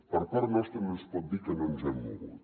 per part nostra no ens pot dir que no ens hem mogut